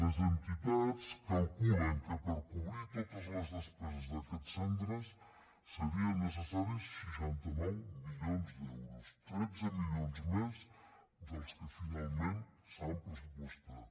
les entitats calculen que per cobrir totes les despeses d’aquests centres serien necessaris seixanta nou milions d’euros tretze milions més dels que finalment s’han pressupostat